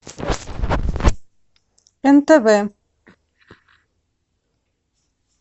нтв